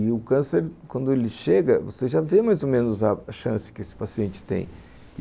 E o câncer, quando ele chega, você já vê mais ou menos a chance que esse paciente tem.